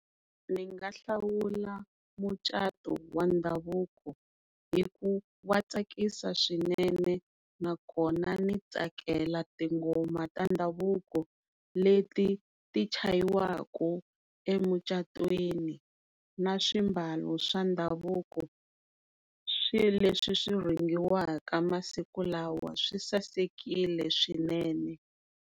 Ndzi nga hlawula mucato wa ndhavuko hi ku wa tsakisa swinene na kona ndzi tsakela tinghoma ta ndhavuko leti chayiwaku emucatwini na swimbalo swa ndhavuko swilo leswi swi rhungiwaka masiku lawa swi sasekile swinene.